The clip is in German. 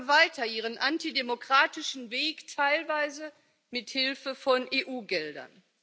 verfolgen weiter ihren antidemokratischen Weg teilweise mit Hilfe von EU Geldern.